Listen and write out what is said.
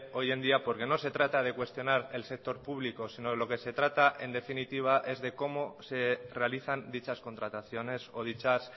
hoy en día porque no se trata de cuestionar el sector público sino lo que se trata en definitiva es de cómo se realizan dichas contrataciones o dichas